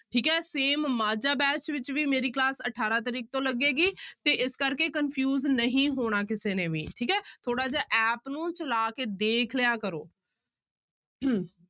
ਠੀਕ same ਮਾਝਾ batch ਵਿੱਚ ਵੀ ਮੇਰੀ class ਅਠਾਰਾਂ ਤਰੀਕ ਤੋਂ ਲੱਗੇਗੀ ਤੇ ਇਸ ਕਰਕੇ confuse ਨਹੀਂ ਹੋਣਾ ਕਿਸੇ ਨੇ ਵੀ ਠੀਕ ਹੈ, ਥੋੜ੍ਹਾ ਜਿਹਾ app ਨੂੰ ਚਲਾ ਕੇ ਦੇਖ ਲਿਆ ਕਰੋ